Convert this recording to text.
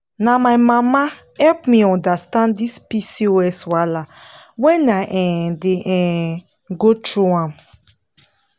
na my mama help me understand this pcos wahala when i um dey um go through am.